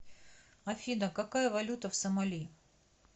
афина какая валюта в сомали